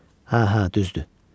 Hə, hə, düzdür.